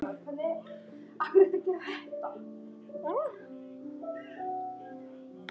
Allt í góðu standi.